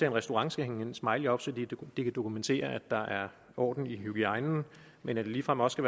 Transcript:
en restaurant skal hænge en smiley op så de kan dokumentere at der er orden i hygiejnen men at det ligefrem også